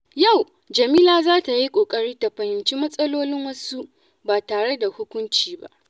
Yau, Jamila za ta yi ƙoƙari ta fahimci matsalolin wasu ba tare da hukunci ba.